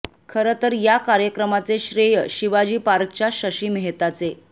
खरं तर या कार्यक्रमाचे श्रेय शिवाजी पार्कच्या शशी मेहताचे